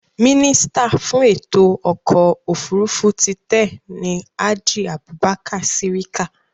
Mínísítà fún ètò ọkọ̀ òfurufú ti tẹ́ẹ̀ ni Hadi Abubakar Sirika